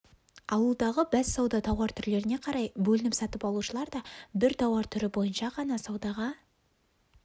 алудағы бәссауда тауар түрлеріне қарай бөлініп сатып алушылар да бір тауар түрі бойынша ғана саудаға